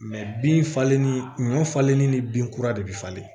bin falenni ɲɔ falenni ni bin kura de bɛ falen